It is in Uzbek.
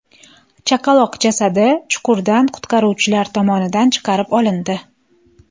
Chaqaloq jasadi chuqurdan qutqaruvchilar tomonidan chiqarib olindi.